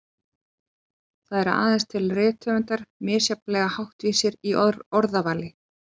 Það eru aðeins til rithöfundar misjafnlega háttvísir í orðavali.